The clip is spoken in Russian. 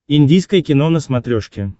индийское кино на смотрешке